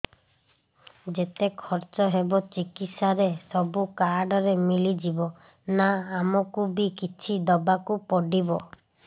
ଯେତେ ଖର୍ଚ ହେବ ଚିକିତ୍ସା ରେ ସବୁ କାର୍ଡ ରେ ମିଳିଯିବ ନା ଆମକୁ ବି କିଛି ଦବାକୁ ପଡିବ